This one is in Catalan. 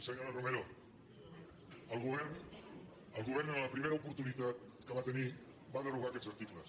senyora romero el govern el govern en la prime·ra oportunitat que va tenir va derogar aquests articles